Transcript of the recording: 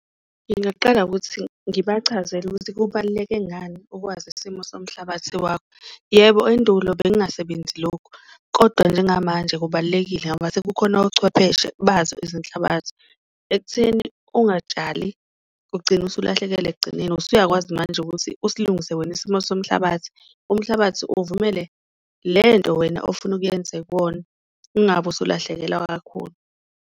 Ngingaqala ngokuthi ngibachazele ukuthi kubaluleke ngani ukwazi isimo somhlabathi wakho, yebo endulo bengasebenzi lokhu kodwa njengamanje kubalulekile ngoba sekukhona ochwepheshe bazo izinhlabathi. Ekutheni ungatshali ugcine usulahlekelwa ekugcineni, usuyakwazi manje ukuthi usilungise wena isimo somhlabathi, umhlabathi uvumele le nto wena ofuna ukuyenza kuwona, ungabi usulahlekelwa kakhulu.